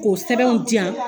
Ko sɛbɛnw diyan.